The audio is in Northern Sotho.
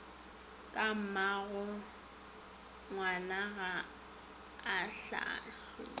ka mmagongwana ga a kgahlwe